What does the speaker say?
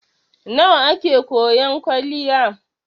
Nawa a ke koyan kwaliya?